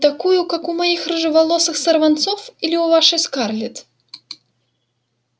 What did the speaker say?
такую как у моих рыжеволосых сорванцов или у вашей скарлетт